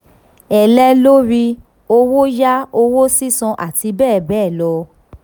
ẹ̀lẹ́ lórí owó yá, owó sísan, àti bẹ́ẹ̀ bẹ́ẹ̀ lọ.